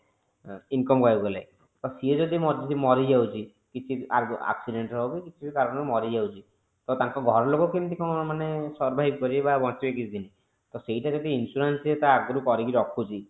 income କହିବାକୁ ଗଲେ ମାନେ ସିଏ ଯଦି ମରିଯାଉଛି କିଛି accident re ହଊ କି କିଛି ବି କାରଣ ରୁ ମରିଯାଉଛି ତ ତାଙ୍କ ଘର ଲୋକ କେମିତି କଣ survive କରିବେ ବା ବଞ୍ଚିବେ କିଛି ଦିନ ସେଇଟା ଯଦି ସେଇଟା ଯଦି ସେ insurance ସେ ଆଗରୁ କରିକି ରଖୁଛି